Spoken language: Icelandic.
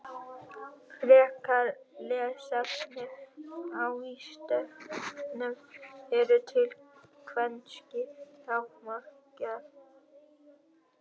Frekara lesefni á Vísindavefnum: Eru til kvenkyns raðmorðingjar?